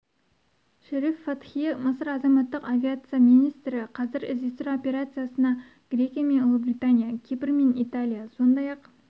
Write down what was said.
шериф фатхи мысыр азаматтық авиация министрі қазір іздестіру операциясына грекия мен ұлыбритания кипр мен италия сондай-ақ